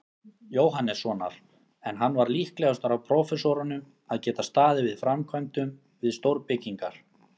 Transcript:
Jóhannessonar, en hann var líklegastur af prófessorunum að geta staðið að framkvæmdum við stórbyggingar.